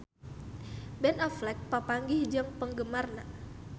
Ben Affleck papanggih jeung penggemarna